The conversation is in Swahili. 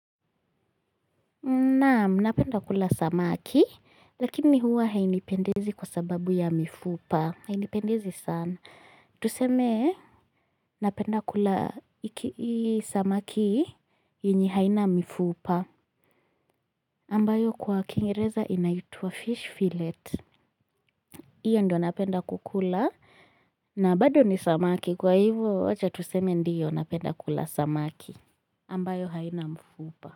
Naam napenda kula samaki lakini huwa hainipendezi kwa sababu ya mifupa hainipendezi sana tuseme napenda kula samaki yenye haina mifupa ambayo kwa kiingereza inaitwa fish fillet. Iyo ndio napenda kukula. Na bado ni samaki kwa hivyo acha tuseme ndiyo napenda kula samaki ambayo haina mifupa. Kwa hiyo.